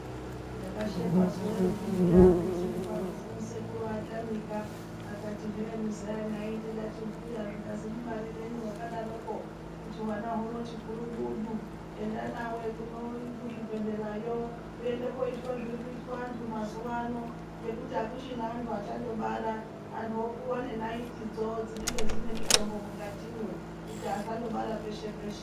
Ndakashekwa ndimbuya vagu tiri parufu sekuru vatamika zvikanzi muzaya ndikati he mubarirenyi wakadaro kuti zvivana humoti gurumudu enda unoitwa zvirikuita vantu mazuvano unondopuwa naiti dzinenge dzine mutombo mukatimo kuti usasabara peshe peshe.